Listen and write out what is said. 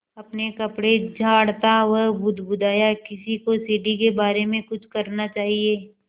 अपने कपड़े झाड़ता वह बुदबुदाया किसी को सीढ़ी के बारे में कुछ करना चाहिए